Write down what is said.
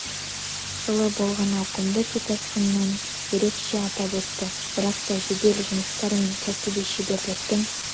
жылы болған ауқымды су тасқынын ерекше атап өтті бірақ та жедел жұмыстар мен кәсіби шеберліктің